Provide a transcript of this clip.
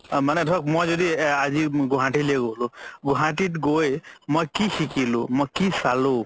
মানে ধৰক মই যদি আজি গুৱাহাতিলে গ'লো গুৱাহাতিত গৈ মই কি শিকিলো মই কি চালো